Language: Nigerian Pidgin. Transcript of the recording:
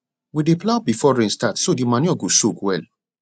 we dey plough before rain start so the manure go soak well